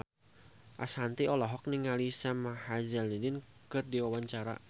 Ashanti olohok ningali Sam Hazeldine keur diwawancara